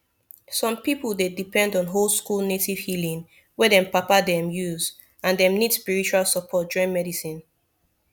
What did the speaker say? some people dey depend on oldschool native healing wey dem papa them use and dem need spiritual support join medicine